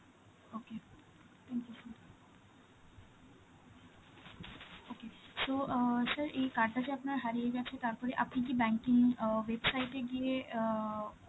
okay, thank you sir. okay so অ্যাঁ sir এই card টা যে আপনার হারিয়ে গেছে তারপরে আপনি কি banking অ্যাঁ website এ গিয়ে অ্যাঁ